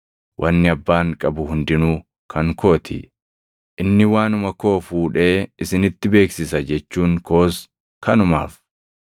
Wanni Abbaan qabu hundinuu kan koo ti. Inni waanuma koo fuudhee isinitti beeksisa jechuun koos kanumaaf.